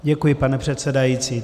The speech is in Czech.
Děkuji, pane předsedající.